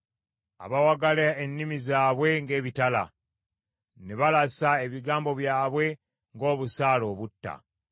abawagala ennimi zaabwe ng’ebitala, ne balasa ebigambo byabwe ng’obusaale obutta.